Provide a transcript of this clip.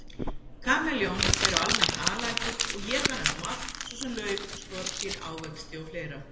Kameljón eru almennt alætur og éta næstum allt, svo sem lauf, skordýr, ávexti og fleira.